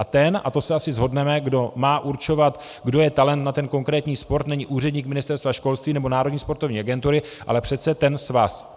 A ten, a to se asi shodneme, kdo má určovat, kdo je talent na ten konkrétní sport, není úředník Ministerstva školství nebo Národní sportovní agentury, ale přece ten svaz.